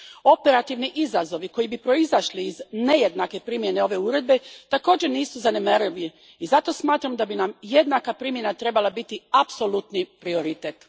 Operativni izazovi koji bi proizišli iz nejednake primjene ove uredbe također nisu zanemarivi i zato smatram da bi nam jednaka primjena trebala biti apsolutni prioritet.